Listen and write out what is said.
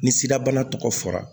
Ni sida bana tɔgɔ fɔra